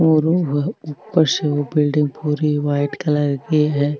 और वो वह ऊपर से वो बिलडिंग पूरी व्हाइट कलर की है।